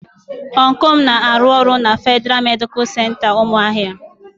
Ọncụl m na-arụ ọrụ na Fedịra Medicalụ Center Umuahia.